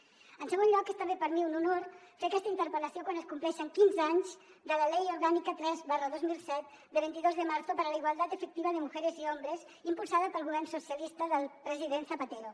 en segon lloc és també per a mi un honor fer aquesta interpel·lació quan es compleixen quinze anys de la ley orgánica tres dos mil set de vint dos de marzo para la igualdad efectiva de mujeres y hombres impulsada pel govern socialista del president zapatero